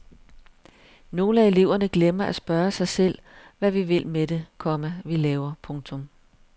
Nogle af eleverne glemmer at spørge sig selv hvad vi vil med det, komma vi laver. punktum